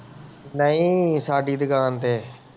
ਨਹੀਂ ਸ਼ਰਾਬੀ ਦੁਕਾਨ ਤੇ